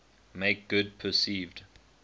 make good perceived